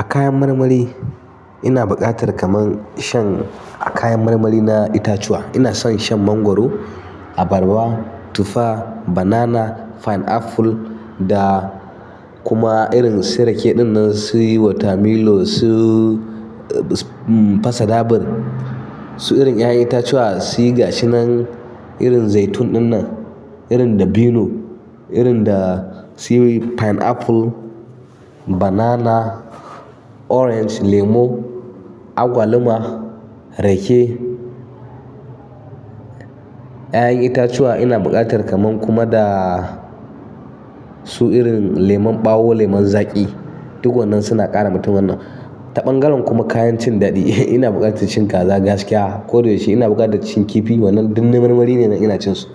A kayan marmari, ina buƙatar kaman shan a kayan marmari na itatuwa ina son shan mangwaro, abarba, tufa, banana, pineapple da kuma irin su rake din nan su watermelon su pasadabur. Su irin ya'yan itatuwa su gasu nan irin zaitun din nan, irin dabino, irin da su pineapple, banana, orange, lemo, agwaluma, rake. 'Ya'yan itatuwa ina buƙatar kaman kuma da su irin leman ɓawo, leman zaƙi. Duk wannan suna ƙara mutumin nan. Ta ɓangaren kuma kayan cin daɗi, ina buƙatar cin kaza gaskiya. Koda yaushe ina buƙatar cin kifi wannan duk na marmari ne ina cin su.